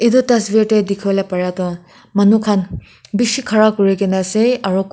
etu te dikhi wo le paria toh manukhan bishi khara kuri kena ase aru kun.